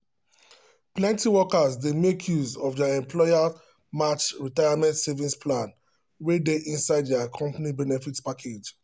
plenty workers dey make use of employer-matched retirement savings plan wey dey inside their company benefit package.